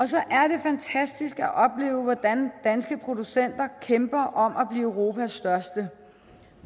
så er det fantastisk at opleve hvordan danske producenter kæmper om at blive europas største